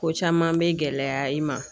Ko caman be gɛlɛya i ma.